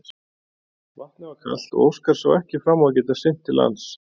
Vatnið var kalt og Óskar sá ekki fram á að geta synt til lands.